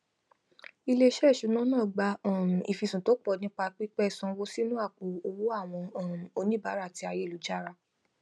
iléisé ìṣúná náà gba um ìfisùn tó pọ nípa pípẹ sanwó sínú àpò owó àwọn um oníbàárà ti ayélujára